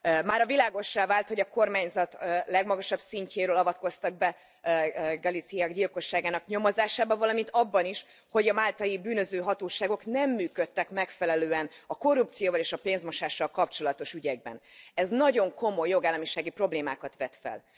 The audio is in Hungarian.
Mára világossá vált, hogy a kormányzat legmagasabb szintjéről avatkoztak be a Galizia gyilkosságnak nyomozásába, valamint abba is, hogy a máltai bűnüldöző hatóságok nem működtek megfelelően a korrupcióval és a pénzmosással kapcsolatos ügyekben. Ez nagyon komoly jogállamisági problémákat vet fel.